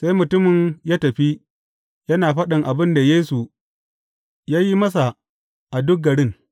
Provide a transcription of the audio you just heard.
Sai mutumin ya tafi yana faɗin abin da Yesu ya yi masa a duk garin.